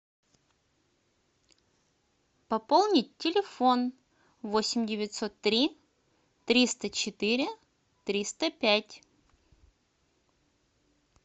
пополнить телефон восемь девятьсот три триста четыре триста пять